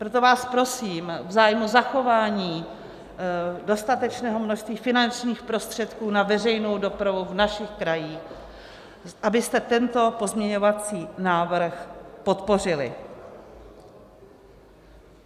Proto vás prosím v zájmu zachování dostatečného množství finančních prostředků na veřejnou dopravu v našich krajích, abyste tento pozměňovací návrh podpořili.